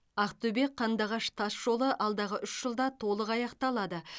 ақтөбе қандыағыш тасжолы алдағы үш жылда толық аяқталады